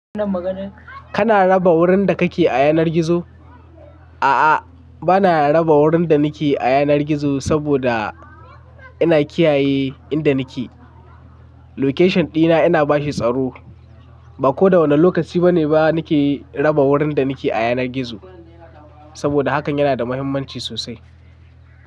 Kana raba wurin da kake a yanar gizo? A'a, bana raba wurin da nake a yanar gizo saboda ina kiyaye inda nike. Location dina ina bashi tsaro. Ba ko da wane lokaci bane ba nike raba wurin da nake a yanar gizo saboda hakan yana da mahimmanci sosai.